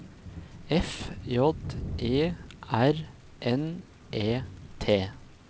F J E R N E T